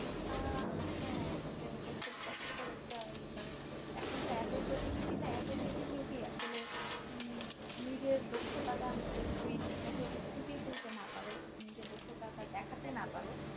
আহা আসলে এটা একটা কষ্টকর একটা কারণ তখন তো এত প্রতিযোগিতা এত প্রতিযোগী আসলে নিজের দক্ষতাটা যদি তুমি ঠিক করে ফুটিয়ে তুলতে না পারো নিজের দক্ষতা টা দেখাতে না পারো